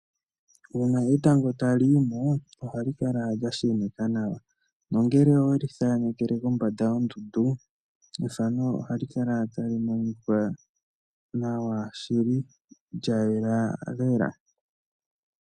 Uuna etango tali yi mo ohali kala lya sheneka nawa nongele owe li thanekele kombanda yondundu ethano ohali kala tali monika nawa shili lya yela lela.